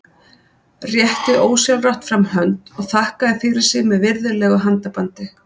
Rétti ósjálfrátt fram hönd og þakkaði fyrir sig með virðulegu handabandi.